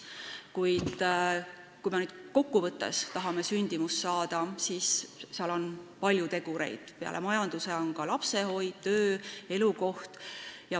Kokkuvõtteks võib öelda, et kui me tahame sündimust suurendada, siis seal on palju tegureid, peale majanduse on olulised ka lapsehoid, töö- ja elukoht.